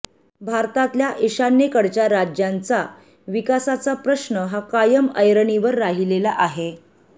भारतातल्या ईशान्येकडच्या राज्यांच्या विकासाचा प्रश्न हा कायम ऐरणीवर राहिलेला आहे